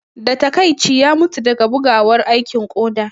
Da taƙaici, ya mutu daga bugawar aikin koda